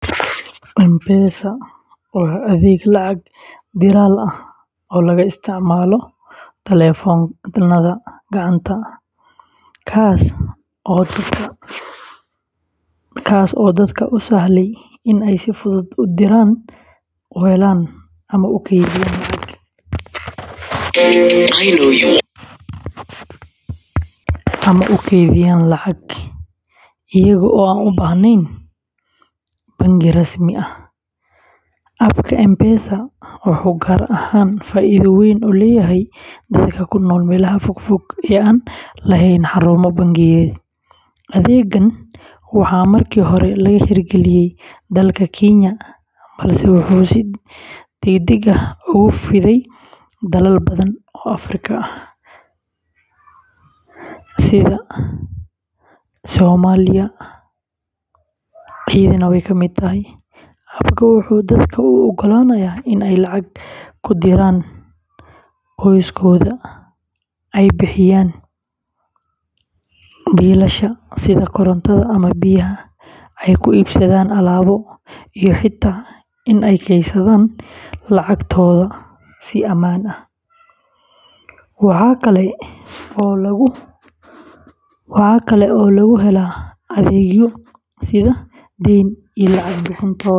M-Pesa waa adeeg lacag-diraal ah oo laga isticmaalo taleefannada gacanta, kaas oo dadka u sahlaya inay si fudud u diraan, u helaan, ama u kaydiyaan lacag iyagoo aan u baahnayn bangi rasmi ah. App-ka M-Pesa wuxuu gaar ahaan faa’iido weyn u leeyahay dadka ku nool meelaha fogfog ee aan lahayn xarumo bangiyeed. Adeeggan waxaa markii hore laga hirgeliyey dalka Kenya, balse wuxuu si degdeg ah ugu fiday dalal badan oo Afrikaan ah, Soomaaliyana way ka mid tahay. App-ku wuxuu dadka u oggolaanayaa in ay lacag ku diraan qoysaskooda, ay bixiyaan biilasha sida korontada ama biyaha, ay ku iibsadaan alaabo, iyo xitaa in ay kaydsadaan lacagtooda si ammaan ah. Waxaa kale oo lagu helaa adeegyo sida deyn iyo lacag bixin toos ah.